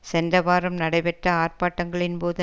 சென்ற வாரம் நடைபெற்ற ஆர்ப்பாட்டங்களின் போது